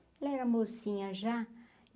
Ela era mocinha já.